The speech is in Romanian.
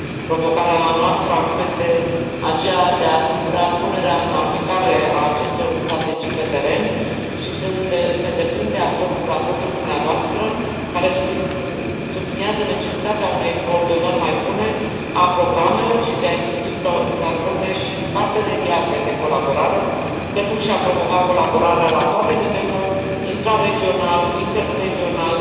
Provocarea noastră, acum, este aceea de a asigura punerea în aplicare a acestor strategii pe teren și sunt pe deplin de acord cu raportul dumneavoastră, care subliniază necesitatea unei coordonări mai bune a programelor și de a institui platforme și parteneriate de colaborare, precum și a promova colaborarea la toate nivelurile intra regional, inter regional,